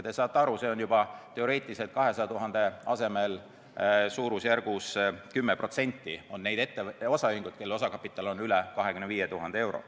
Te saate aru , et 200 000-st on suurusjärgus 10% neid ettevõtteid-osaühinguid, kelle osakapital on üle 25 000 euro.